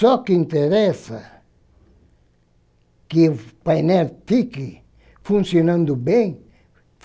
Só que interessa que o painel fique funcionando bem.